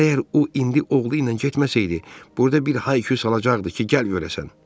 Əgər o indi oğlu ilə getməsəydi, burda bir hay-küy salacaqdı ki, gəl görəsən.